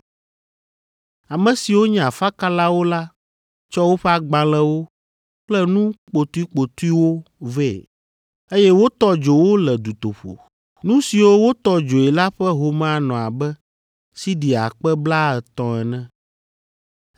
Ame siwo nye afakalawo la tsɔ woƒe agbalẽwo kple nu kpotokpotoewo vɛ, eye wotɔ dzo wo le dutoƒo. Nu siwo wotɔ dzoe la ƒe home anɔ abe siɖi akpe blaatɔ̃ ene.